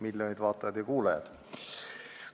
Miljonid vaatajad ja kuulajad!